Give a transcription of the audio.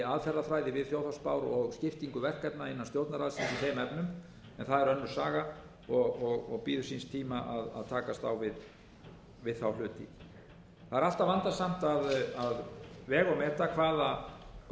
aðferðafræði við þjóðhagsspár og skiptingu verkefna innan stjórnarráðsins í þeim efnum en það er önnur saga og bíður síns tíma að takast á við þá hluti það er alltaf vandasamt að vega og meta hvaða gögn